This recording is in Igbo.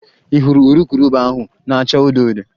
Ị hụrụ urukurubụba ahụ na-acha odo odo?